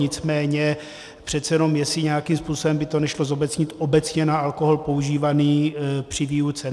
Nicméně přece jenom jestli nějakým způsobem by to nešlo zobecnit obecně na alkohol používaný při výuce.